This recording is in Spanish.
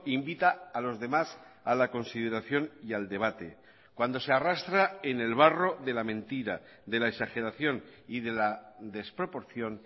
invita a los demás a la consideración y al debate cuando se arrastra en el barro de la mentira de la exageración y de la desproporción